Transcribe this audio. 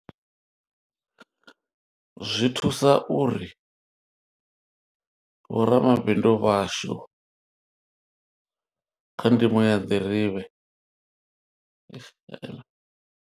Zwi thusa uri, vho ramabindu vhashu, kha ndimo ya nḓirivhe, eish he e man.